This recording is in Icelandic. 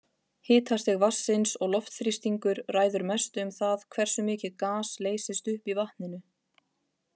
Hitastig vatnsins og loftþrýstingur ræður mestu um það hversu mikið gas leysist upp í vatninu.